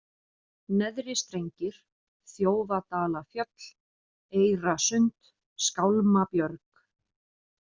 Neðri-Strengir, Þjófadalafjöll, Eyrasund, Skálmabjörg